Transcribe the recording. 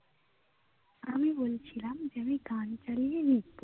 আমি বলছিলাম যে আমি গান চালিয়ে লিখবো